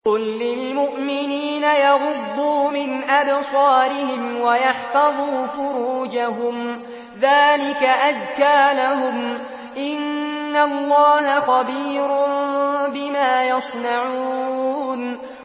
قُل لِّلْمُؤْمِنِينَ يَغُضُّوا مِنْ أَبْصَارِهِمْ وَيَحْفَظُوا فُرُوجَهُمْ ۚ ذَٰلِكَ أَزْكَىٰ لَهُمْ ۗ إِنَّ اللَّهَ خَبِيرٌ بِمَا يَصْنَعُونَ